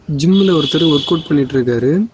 ஜிம்ல ஒருத்தர் ஒர்க்கவுட்டு பண்ணிட்டுருக்காரு.